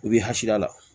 I b'i hakilila